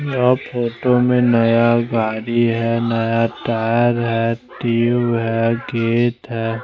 यहाँ फोटो में नया गाडी है नया टायर है टुब है गेट है।